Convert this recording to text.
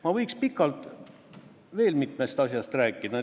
Ma võiks pikalt veel mitmest asjast rääkida.